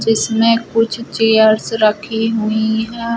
जिसमें कुछ चेयर्स रखी हुई हैं।